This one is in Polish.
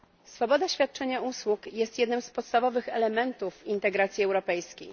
Swoboda świadczenia usług jest jednym z podstawowych elementów integracji europejskiej.